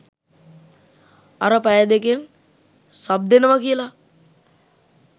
අර පැය දෙකෙන් සබ් දෙනව කියල